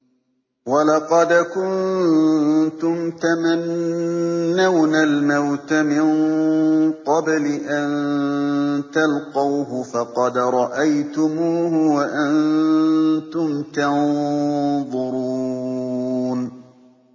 وَلَقَدْ كُنتُمْ تَمَنَّوْنَ الْمَوْتَ مِن قَبْلِ أَن تَلْقَوْهُ فَقَدْ رَأَيْتُمُوهُ وَأَنتُمْ تَنظُرُونَ